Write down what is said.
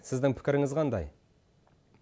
сіздің пікіріңіз қандай